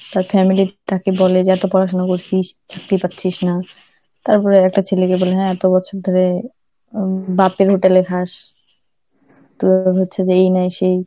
তার family তাকে বলে যে এত পড়াশোনা করছিস, চাকরি করছিস না, তারপরে একটা ছেলেকে বলে হ্যাঁ এত বছর ধরে উম বাপের হোটেলে খাস, তোর আবার হচ্ছে যে এই নয় সেই